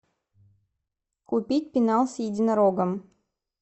купить пенал с единорогом